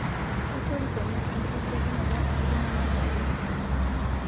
Keitoris ena enkitasheikinoto oo ltung'ana pookin